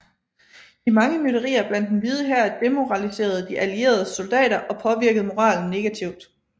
De mange mytterier blandt Den Hvide Hær demoraliserede De Allieredes soldater og påvirkede moralen negativt